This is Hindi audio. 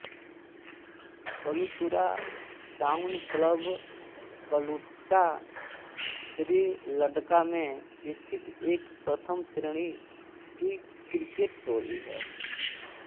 कलुतुरा टाउन क्लब कलुट्टा श्रीलङ्का में स्थित एक प्रथम श्रेणी की क्रिकेट टोली है